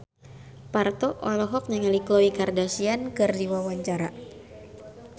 Parto olohok ningali Khloe Kardashian keur diwawancara